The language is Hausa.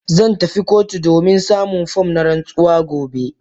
Zan tafi kotu domin samun form na rantsuwa gobe.